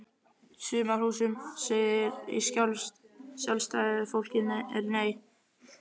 Sumarhúsum segir í Sjálfstæðu fólki er Nei!